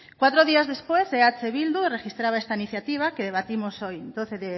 cuatro días después eh bildu registraba esta iniciativa que debatimos hoy doce